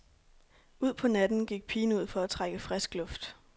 Ud på natten gik pigen ud for at trække frisk luft.